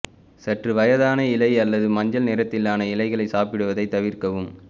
சற்று வயதான இலை அல்லது மஞ்சள் நிறத்திலான இலைகள் சாப்பிடுவதை தவிர்க்கவும்